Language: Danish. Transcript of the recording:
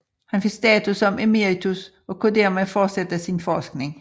Han fik status som emeritus og kunne dermed fortsætte sin forskning